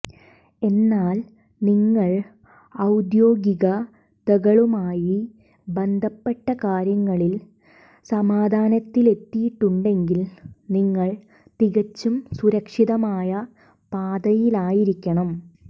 എന്നാൽ നിങ്ങൾ ഔദ്യോഗികതകളുമായി ബന്ധപ്പെട്ട കാര്യങ്ങളിൽ സമാധാനത്തിലെത്തിയിട്ടുണ്ടെങ്കിൽ നിങ്ങൾ തികച്ചും സുരക്ഷിതമായ പാതയിലായിരിക്കണം